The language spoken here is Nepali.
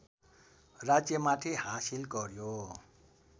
राज्यमाथि हासिल गर्‍यो